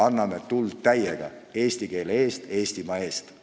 Anname täiega tuld, seistes eesti keele eest, Eestimaa eest!